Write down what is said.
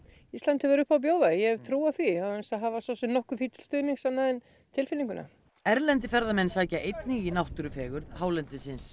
Ísland hefur upp á að bjóða ég hef trú á því án þess að hafa nokkuð því til stuðnings annað en tilfinninguna erlendir ferðamenn sækja einnig í náttúrufegurð hálendisins